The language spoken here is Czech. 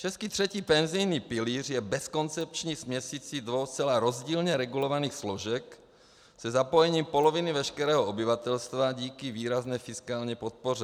Český třetí penzijní pilíř je bezkoncepční směsicí dvou zcela rozdílně regulovaných složek se zapojením poloviny veškerého obyvatelstva díky výrazné fiskální podpoře.